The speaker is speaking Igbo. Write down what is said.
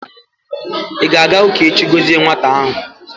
ị ga-aga ụka echi gọzie nwata ahụ?